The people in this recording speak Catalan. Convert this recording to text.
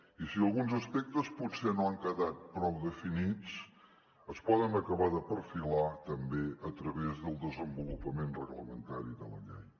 i si alguns aspectes potser no han quedat prou definits es poden acabar de perfilar també a través del desenvolupament reglamentari de la llei